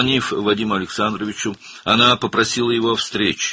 Vadim Aleksandroviçə zəng edərək, ondan görüşməyi xahiş etdi.